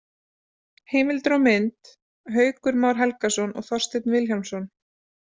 Heimildir og mynd: Haukur Már Helgason og Þorsteinn Vilhjálmsson.